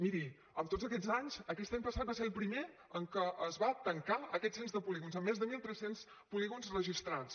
miri en tots aquests anys aquest any passat va ser el primer en què es va tancar aquest cens de polígons amb més de mil tres cents polígons registrats